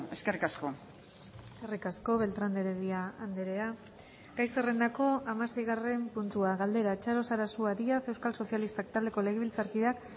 eskerrik asko eskerrik asko beltrán de heredia andrea gai zerrendako hamaseigarren puntua galdera txaro sarasua díaz euskal sozialistak taldeko legebiltzarkideak